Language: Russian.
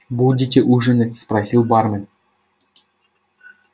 будете ужинать спросил бармен